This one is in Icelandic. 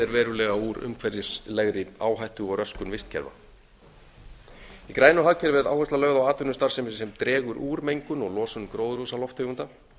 er verulega úr umhverfislegri áhættu og röskun vistkerfa í grænu hagkerfi er áhersla lögð á atvinnustarfsemi sem dregur úr mengun og losun gróðurhúsalofttegunda